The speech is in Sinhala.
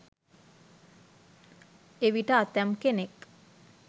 එවිට ඇතැම් කෙනෙක්